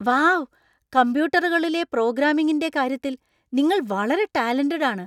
Wow ! കമ്പ്യൂട്ടറുകളിലെ പ്രോഗ്രാമിംഗിന്‍റെ കാര്യത്തിൽ നിങ്ങൾ വളരെ ടാലന്‍റഡ് ആണ് .